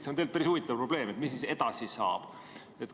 See on päris huvitav probleem, mis siis edasi saab.